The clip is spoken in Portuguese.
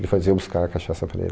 Ele fazia eu buscar cachaça para ele,